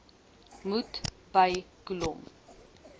moet by kolom